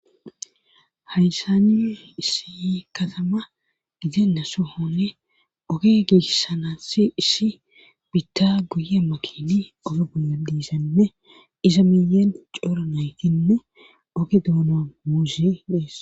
Hayssani issi katama ide na sohone oge gessanasse issi bitta guye makini oge guye diisanne iza miyen coora naytinne oge duuna muuse dees.